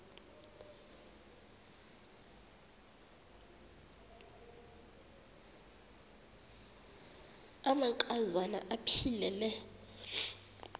amanka zana aphilele